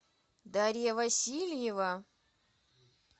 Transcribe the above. дарья васильева